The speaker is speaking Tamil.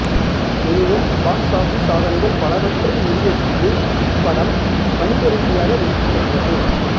எனினும் பாக்ஸ் ஆபிஸ் சாதனைகள் பலவற்றை முறியடித்து இப்படம் வணிக ரீதியாக வெற்றி பெற்றது